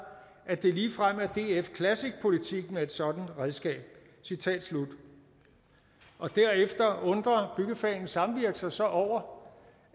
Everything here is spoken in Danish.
at det ligefrem er df classic politik med et sådant redskab citat slut derefter undrer byggefagenes samvirke sig sig over